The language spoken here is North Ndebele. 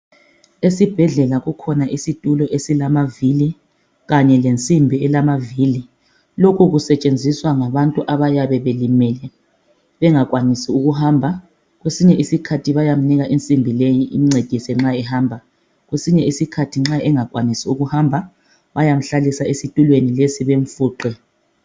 esibhedlela kukhona isitulo esilamavili kanye lensimbi elamavili lokhu kusetshenziswa ngabantu abayabe belimele bengakwanisi ukuhamba kwesinye isikhathi bayamnika insimbi leyi imncedise nxa ehamba kwesinye isikhathi nxa engakwanisi ukuhamba bayamuhlalisa esitulweni lesi bemfuqe